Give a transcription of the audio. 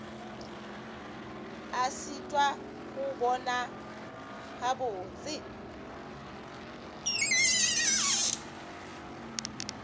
a šitwa go bona gabotse